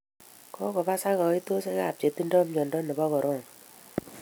Kokobosak kaitoshek ab chetindo mwondo nebo coronal